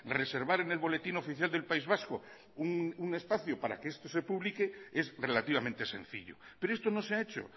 reservar en el boletín oficial del país vasco un espacio para que esto se publique es relativamente sencillo pero esto no se ha hecho